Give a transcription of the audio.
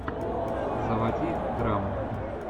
заводи драму